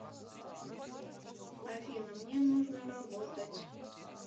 афина мне нужно работать